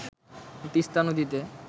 তিস্তা নদীতে